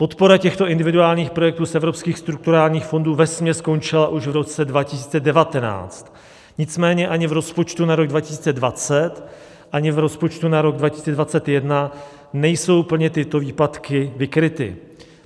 Podpora těchto individuálních projektů z evropských strukturálních fondů vesměs skončila už v roce 2019, nicméně ani v rozpočtu na rok 2020, ani v rozpočtu na rok 2021 nejsou plně tyto výpadky vykryty.